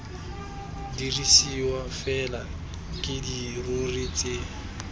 dirisiwa fela ke dirori tse